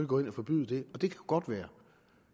gå ind og forbyde det det kunne godt være